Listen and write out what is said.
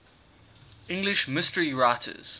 english mystery writers